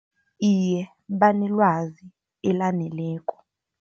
Iye, banelwazi elaneleko.